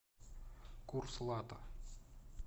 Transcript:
курс лата